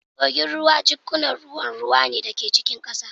Kogin ruwa jikkunan ruwan ruwa ne da ke cikin ƙasa